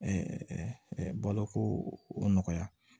baloko nɔgɔya